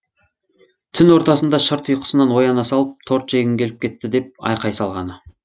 түн ортасында шырт ұйқысынан ояна салып торт жегім келіп кеттііі деп айқай салғаны